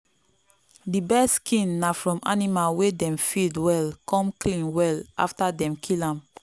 the best skin na from animal wey dem feed well come clean well after dem kill am.